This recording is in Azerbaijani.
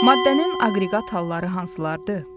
Maddənin aqreqat halları hansılardır?